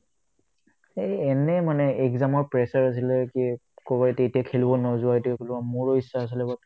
সেই এনেই মানে exam ৰ pressure আছিলে কি ক'ব তেতিয়া খেলিব নোযোৱাটোক ল'ম মোৰো ইচ্ছা আছিলে